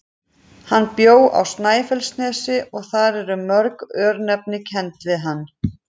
Hann bjó á Snæfellsnesi og þar eru mörg örnefni kennd við hann.